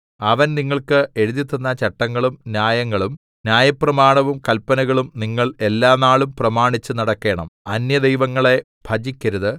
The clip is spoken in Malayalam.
അവൻ നിങ്ങൾക്ക് എഴുതിത്തന്ന ചട്ടങ്ങളും ന്യായങ്ങളും ന്യായപ്രമാണവും കല്പനകളും നിങ്ങൾ എല്ലാനാളും പ്രമാണിച്ചുനടക്കേണം അന്യദൈവങ്ങളെ ഭജിക്കരുത്